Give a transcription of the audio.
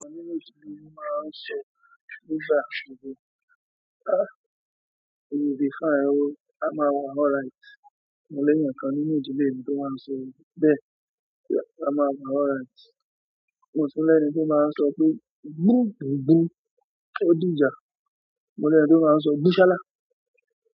Mo ní ojú mi máa we will be fine o, a máa wa alright. Mo l'èyàn ká nínú ìdílé mi tó máa ń sọ bẹ́ẹ̀, a máa wa alright. Mo sì ní ẹní tó máa ń sọ pé gbogbo gbò ó dijà. Mo l'ẹn to maa n sọ "Bisọla!"